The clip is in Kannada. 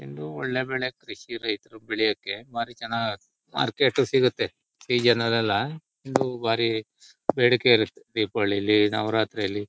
ಇದು ಒಳ್ಳೆ ಬೆಳೆ ಕೃಷಿ ರೈತರು ಬೆಳೆಯೋಕ್ಕೆಬಾರಿ ಚೆನ್ನಾಗ್ ಮಾರ್ಕೆಟು ಸಿಗುತ್ತೆ ಸೀಜನ್ ಲೆಲ್ಲ ಇದು ಬಾರಿ ಬೇಡಿಕೆ ಇರುತ್ತೆ ದೀಪಾವಳಿಲಿ ನವರಾತ್ರಿಲಿ .